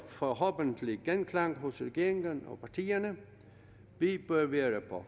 forhåbentlig genklang hos regeringen og partierne vi bør være på